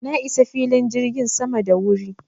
Na isa filin jirgin sama da wuri.